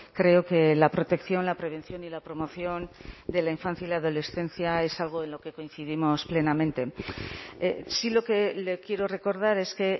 creo que la protección la prevención y la promoción de la infancia y la adolescencia es algo en lo que coincidimos plenamente sí lo que le quiero recordar es que